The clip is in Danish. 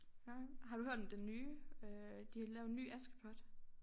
Har har du hørt om den nye øh de har lavet en ny Askepot